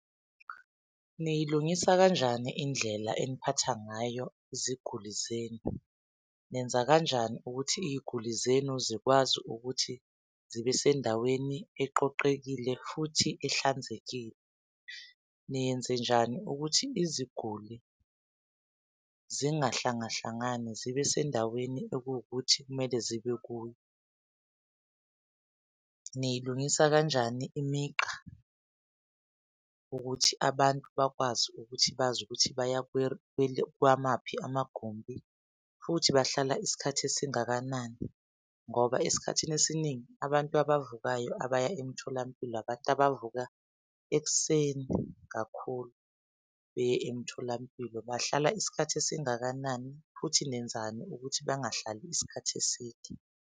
Niyilungisa kanjani indlela eniphatha ngayo iziguli zenu? Nenza kanjani ukuthi iy'guli zenu zikwazi ukuthi zibe sendaweni eqoqekile futhi ehlanzekile? Niyenzenjani ukuthi iziguli zingahlangahlangani zibe sendaweni ekuwukuthi kumele zibe kuyo? Niyilungisa kanjani imigqa ukuthi abantu bakwazi ukuthi bazi ukuthi baya kwamaphi amagumbi futhi bahlala isikhathi esingakanani? Ngoba esikhathini esiningi abantu abavukayo abaya emtholampilo abantu abavuka ekuseni kakhulu beye emtholampilo. Bahlala isikhathi esingakanani, futhi nenzani ukuthi bangahlali isikhathi eside?